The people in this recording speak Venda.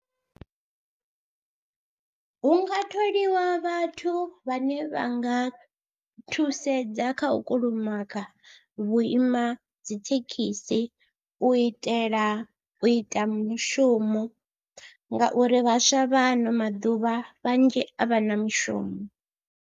Hu nga tholiwa vhathu vhane vha nga thusedza kha u kulumaga vhuima dzi thekhisi u itela u ita mushumo ngauri vhaswa vha ano maḓuvha vhanzhi a vha na mushumo.